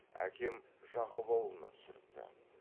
әкем жақып аулына түсіріпті